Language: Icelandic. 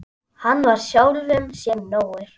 Hann var sjálfum sér nógur.